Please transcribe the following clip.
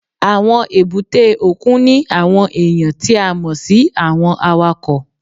Àwọn èbúté òkun ní àwọn èèyàn tí a mọ̀ sí àwọn awakọ̀